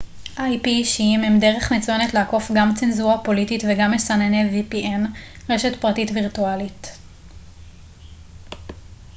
ספקי vpn רשת פרטית וירטואלית אישיים הם דרך מצוינת לעקוף גם צנזורה פוליטית וגם מסנני ip גאוגרפי מסחריים